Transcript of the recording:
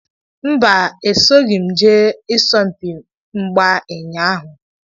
Mbà, esoghim jee isompi mgbà ụñyaahu